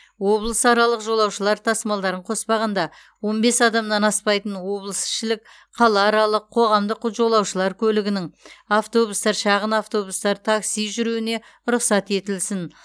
облысаралық жолаушылар тасымалдарын қоспағанда он бес адамнан аспайтын облысішілік қалааралық қоғамдық жолаушылар көлігінің автобустар шағын автобустар такси жүруіне рұқсат етілсін